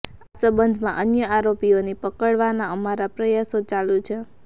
આ સંબંધમાં અન્ય આરોપીઓની પકડવાના અમારા પ્રયાસો ચાલુ છે